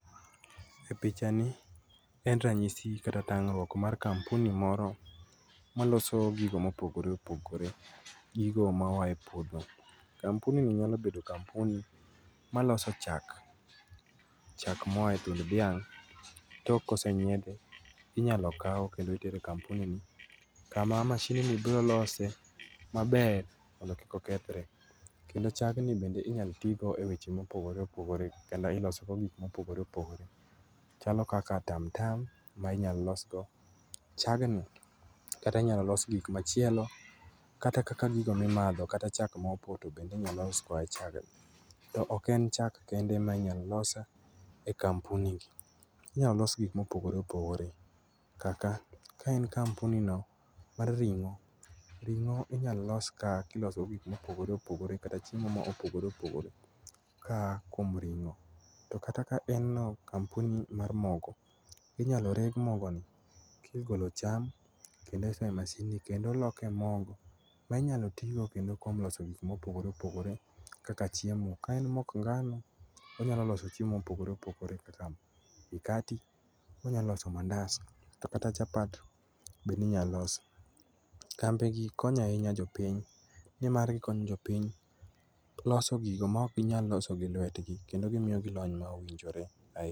E pichani en ranyisi kata tang'ruok mar kampuni moro maloso gigo mopogore opogore, gigo mayae puodho. kampuni ni nyalo bedo kampuni maloso chak. Chak moyae thund dhiang' tok kosenyiedhe inyalo kau kendo itere kampuni kama mashindni brolose maber mondo kikokethre. Kendo chagni bende inyalo tigo e weche mopogore opogore kendo ilosogo gik mopogore opogore. Chalo kaka tam tam mainyalolosgo chagni. Kata inyalo los gik machielo kata kaka gigo mimadho kata chak maopoto bende inyalo los koae chagni. To oken chak kende mainyalo los e kampuni ni, inyalolos gik mopogore opogore kaka ka en kampuni no mar ring'o, ring'o inyalolos kaka iloso gik mopogore opogore kata chiemo maopogore opogore ka a kuom ring'o. To kata kaen no kampuni mar mogo, inyalo reg mogoni kigolo cham kendo isoe masinni kendo oloke mogo mainyalotigo kendo kuom loso gik mopogore opogore kaka chiemo ka en mok ngano onyalo loso chiemo mopogore opogore kaka mkati, onyaloso mandas to kata chapat bende inyalosi. Kambi gi konyo ainya jopiny, ni mar gikonyo jopiny loso gigo maok ginyal loso gi luetgi kendo gimiogi lony mowinjore ai.